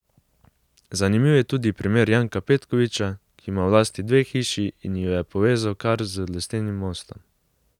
Zanimiv je tudi primer Janka Petkovića, ki ima v lasti dve hiši in ju je povezal kar z lesenim mostom.